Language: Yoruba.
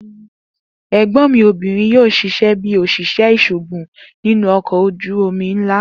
egbon obirin mi yoo ṣiṣẹ bi oṣiṣẹ iṣoogun ninu ọkọ oju omi nla kan.